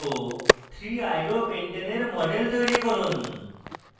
2chloro3iodopentane এর model তৈরি করুন